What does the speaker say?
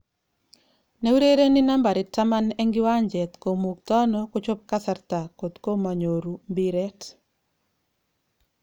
Neurereni nambait taman eng kiwanjet komugtono kochop kasarta kotkomonyoru mbiret.